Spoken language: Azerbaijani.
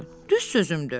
Düz sözümdür.